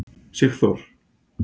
Sigþór